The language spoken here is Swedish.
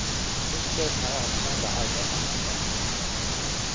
Muskler som är avspända arbetar mycket bättre.